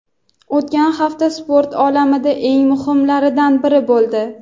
O‘tgan hafta sport olamida eng muhimlaridan biri bo‘ldi.